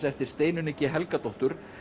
eftir Steinunni g Helgadóttur